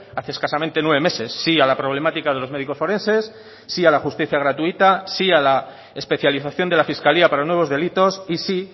hace escasamente nueve meses sí a la problemática de los médicos forenses sí a la justicia gratuita sí a la especialización de la fiscalía para nuevos delitos y sí